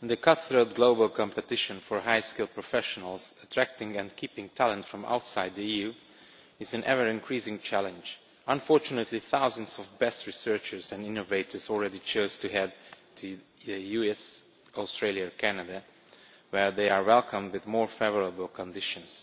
in the cut throat global competition for highly skilled professionals, attracting and keeping talent from outside the EU is an ever-increasing challenge. Unfortunately, thousands of the best researchers and innovators have already chosen to head to the US, Australia or Canada, where they are welcomed with more favourable conditions.